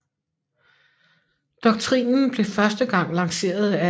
Doktrinen blev første gang lanceret af S